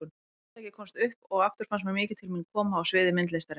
Tiltækið komst upp og aftur fannst mér mikið til mín koma á sviði myndlistarinnar.